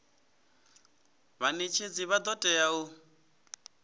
vhanetshedzi vha do tea u